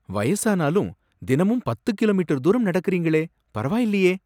வயசானாலும், தினமும் பத்து கிலோமீட்டர் தூரம் நடக்கறீங்களே, பரவாயில்லையே.